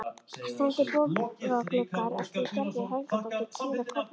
Steindir bogagluggar eftir Gerði Helgadóttur prýða Kópavogskirkju.